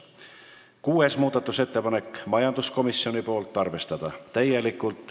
Kuues muudatusettepanek on majanduskomisjonilt, ettepanek: arvestada täielikult.